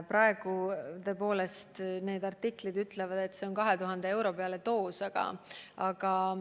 Praegu tõepoolest võib artiklitest lugeda, et see maksab 2000 eurot doos.